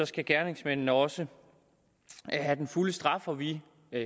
skal gerningsmændene også have den fulde straf og vi